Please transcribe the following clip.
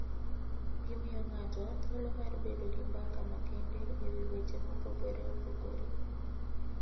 Gimiyo ng'ato thuolo mar bedo gi mbaka makende e wi weche mopogore opogore.